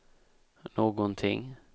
någonting